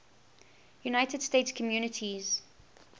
united states communities